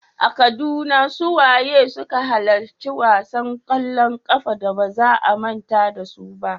A Kaduna, su waye suka halarci wasan kwallon kafa da ba za a manta da su ba?